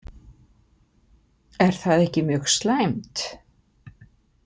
Er það ekki mjög slæmt?